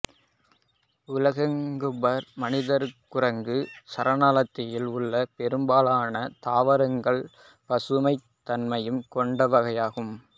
உலோங்காபர் மனிதக்குரங்கு சரணாலயத்தில் உள்ள பெரும்பாலான தாவரங்கள் பசுமைத் தன்மை கொண்டவையாகும்